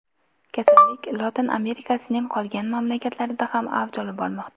Kasallik Lotin Amerikasining qolgan mamlakatlarida ham avj olib bormoqda.